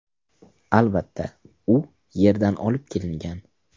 Albatta, u Yerdan olib kelingan.